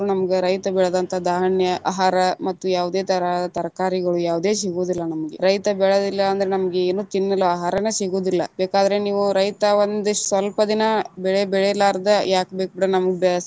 ನಮ್ಗ ರೈತ ಬೆಳೆದಂತ ಧಾನ್ಯ, ಆಹಾರ ಮತ್ತು ಯಾವದೇ ತರಾ ತರಕಾರಿಗಳು ಯಾವುದೇ ಸಿಗುದಿಲ್ಲಾ ನಮಗೆ, ರೈತ ಬೆಳೆಲಿಲ್ಲಾ ಅಂದ್ರ ನಮಗ ಏನು ತಿನ್ನಲು ಆಹಾರನ ಸಿಗುದಿಲ್ಲಾ ಬೇಕಾದ್ರ ನೀವು ರೈತ ಒಂದ ಸ್ವಲ್ಪ ದಿನಾ ಬೆಳೆ ಬೆಳಿಲಾರ್ದ ಯಾಕ ಬೇಕ ಬಿಡ ನಮ್ಗ.